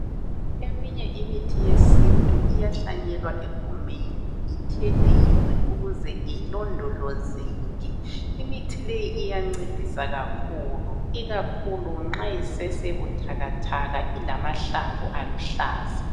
Eminye imithi yesintu iyahlanyelwa egumeni, ithelelwe ukuze ilondolozeke. Imithi leyi iyancedisa kakhulu, ikakhulu nxa isesebuthakathaka ilamahlamvu aluhlaza.